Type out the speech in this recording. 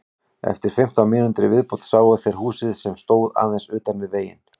Eftir fimmtán mínútur í viðbót sáu þeir húsið sem stóð aðeins utan við veginn.